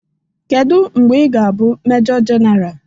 Kedu mgbe ị ga-abụ Mejọ Jenara?